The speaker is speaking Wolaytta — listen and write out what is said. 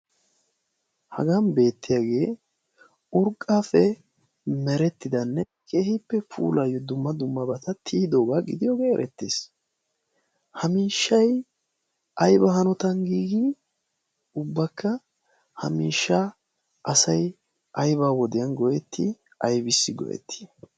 hagan beettiyaagee urgqape merettidanne kehiippe puulayyo dumma dummabata tiyidoogaa gidiyoogee erettees hamiishshai ayba hanotan giigi ubbakka ha miishsha asai ayba wodiyan goyetti aybissi go'ettii?